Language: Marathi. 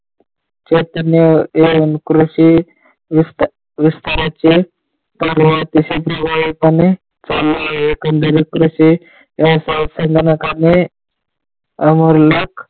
कृषी विस्ताराचे पर्व अतिशय प्रवाही पने चालले आहे. संगणकामुळे .